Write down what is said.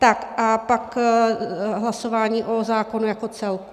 Tak a pak hlasování o zákonu jako celku.